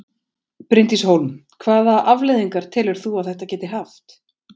Bryndís Hólm: Hvaða afleiðingar telur þú að þetta geti haft?